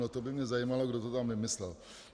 No to by mě zajímalo, kdo to tam vymyslel.